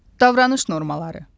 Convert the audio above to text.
Davranış normaları.